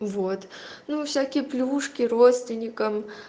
вот ну всякие плюшки родственникам